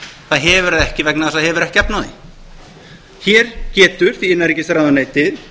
það hefur það ekki vegna þess að það hefur ekki efni á því hér getur því innanríkisráðuneytið